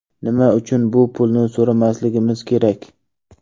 Nima uchun bu pulni so‘ramasligimiz kerak?